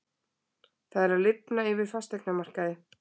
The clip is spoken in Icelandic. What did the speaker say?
Það er að lifna yfir fasteignamarkaði